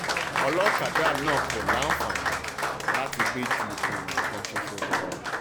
ọlọ́kadà náà kò láǹfààní láti gbé ju èèyàn kan ṣoṣo lọ